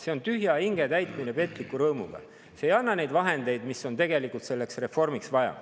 See on tühja hinge täitmine petliku rõõmuga, see ei anna neid vahendeid, mida on tegelikult selleks reformiks vaja.